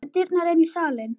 Við dyrnar inn í salinn.